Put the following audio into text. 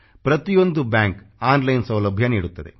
ಪ್ರತಿಯೊಂದು bank online ಸೌಲಭ್ಯ ನೀಡುತ್ತದೆ